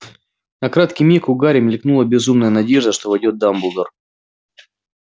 на краткий миг у гарри мелькнула безумная надежда что войдёт дамблдор